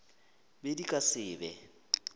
be di ka se be